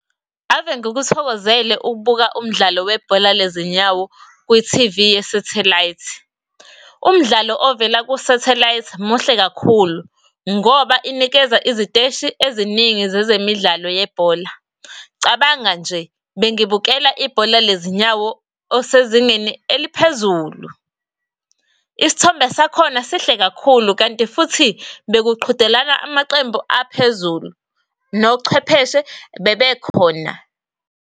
Ave ngikuthokozele ukubuka umdlalo webhola lezinyawo kwi-T_V ye-satellite. Umdlalo ovela ku-satellite muhle kakhulu, ngoba inikeza iziteshi eziningi zezemidlalo yebhola. Cabanga nje bengibukela ibhola lezinyawo osezingeni eliphezulu, isithombe sakhona sihle kakhulu, kanti futhi bekuqhudelana amaqembu aphezulu nochwepheshe bebekhona.